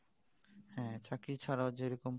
হ্যাঁ চাকরি ছাড়া ও যেরকম